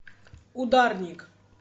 ударник